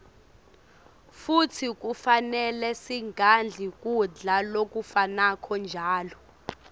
futsi kufanele singadli kudla lokufanako njalo